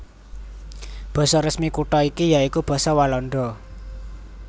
Basa resmi kutha iki ya iku basa Walanda